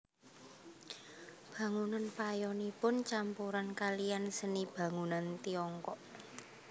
Bangunan payonipun campuran kaliyan seni bangunan Tiongkok